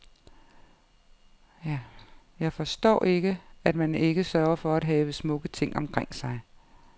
Jeg forstår ikke, at man ikke sørger for at have smukke ting omkring sig.